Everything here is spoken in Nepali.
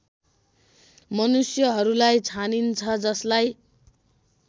मनुष्यहरूलाई छानिन्छ जसलाई